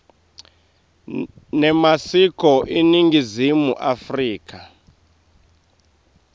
nemasiko eningizimu afrika